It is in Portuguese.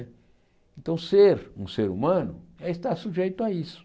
Então, ser um ser humano é estar sujeito a isso.